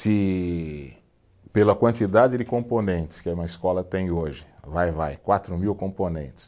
Se pela quantidade de componentes que uma escola tem hoje, vai-vai, quatro mil componentes.